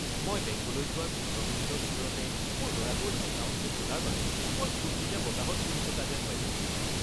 মই বেংকলৈ যোৱাৰ পোন্ধৰ মিনিটৰ ভিতৰতে মোৰ ল’ৰাটোৰ একাউণ্টটো খোলাৰ বাবে মই ফূৰ্তিতে বতাহত উৰি থকা যেন পাইছিলোঁ।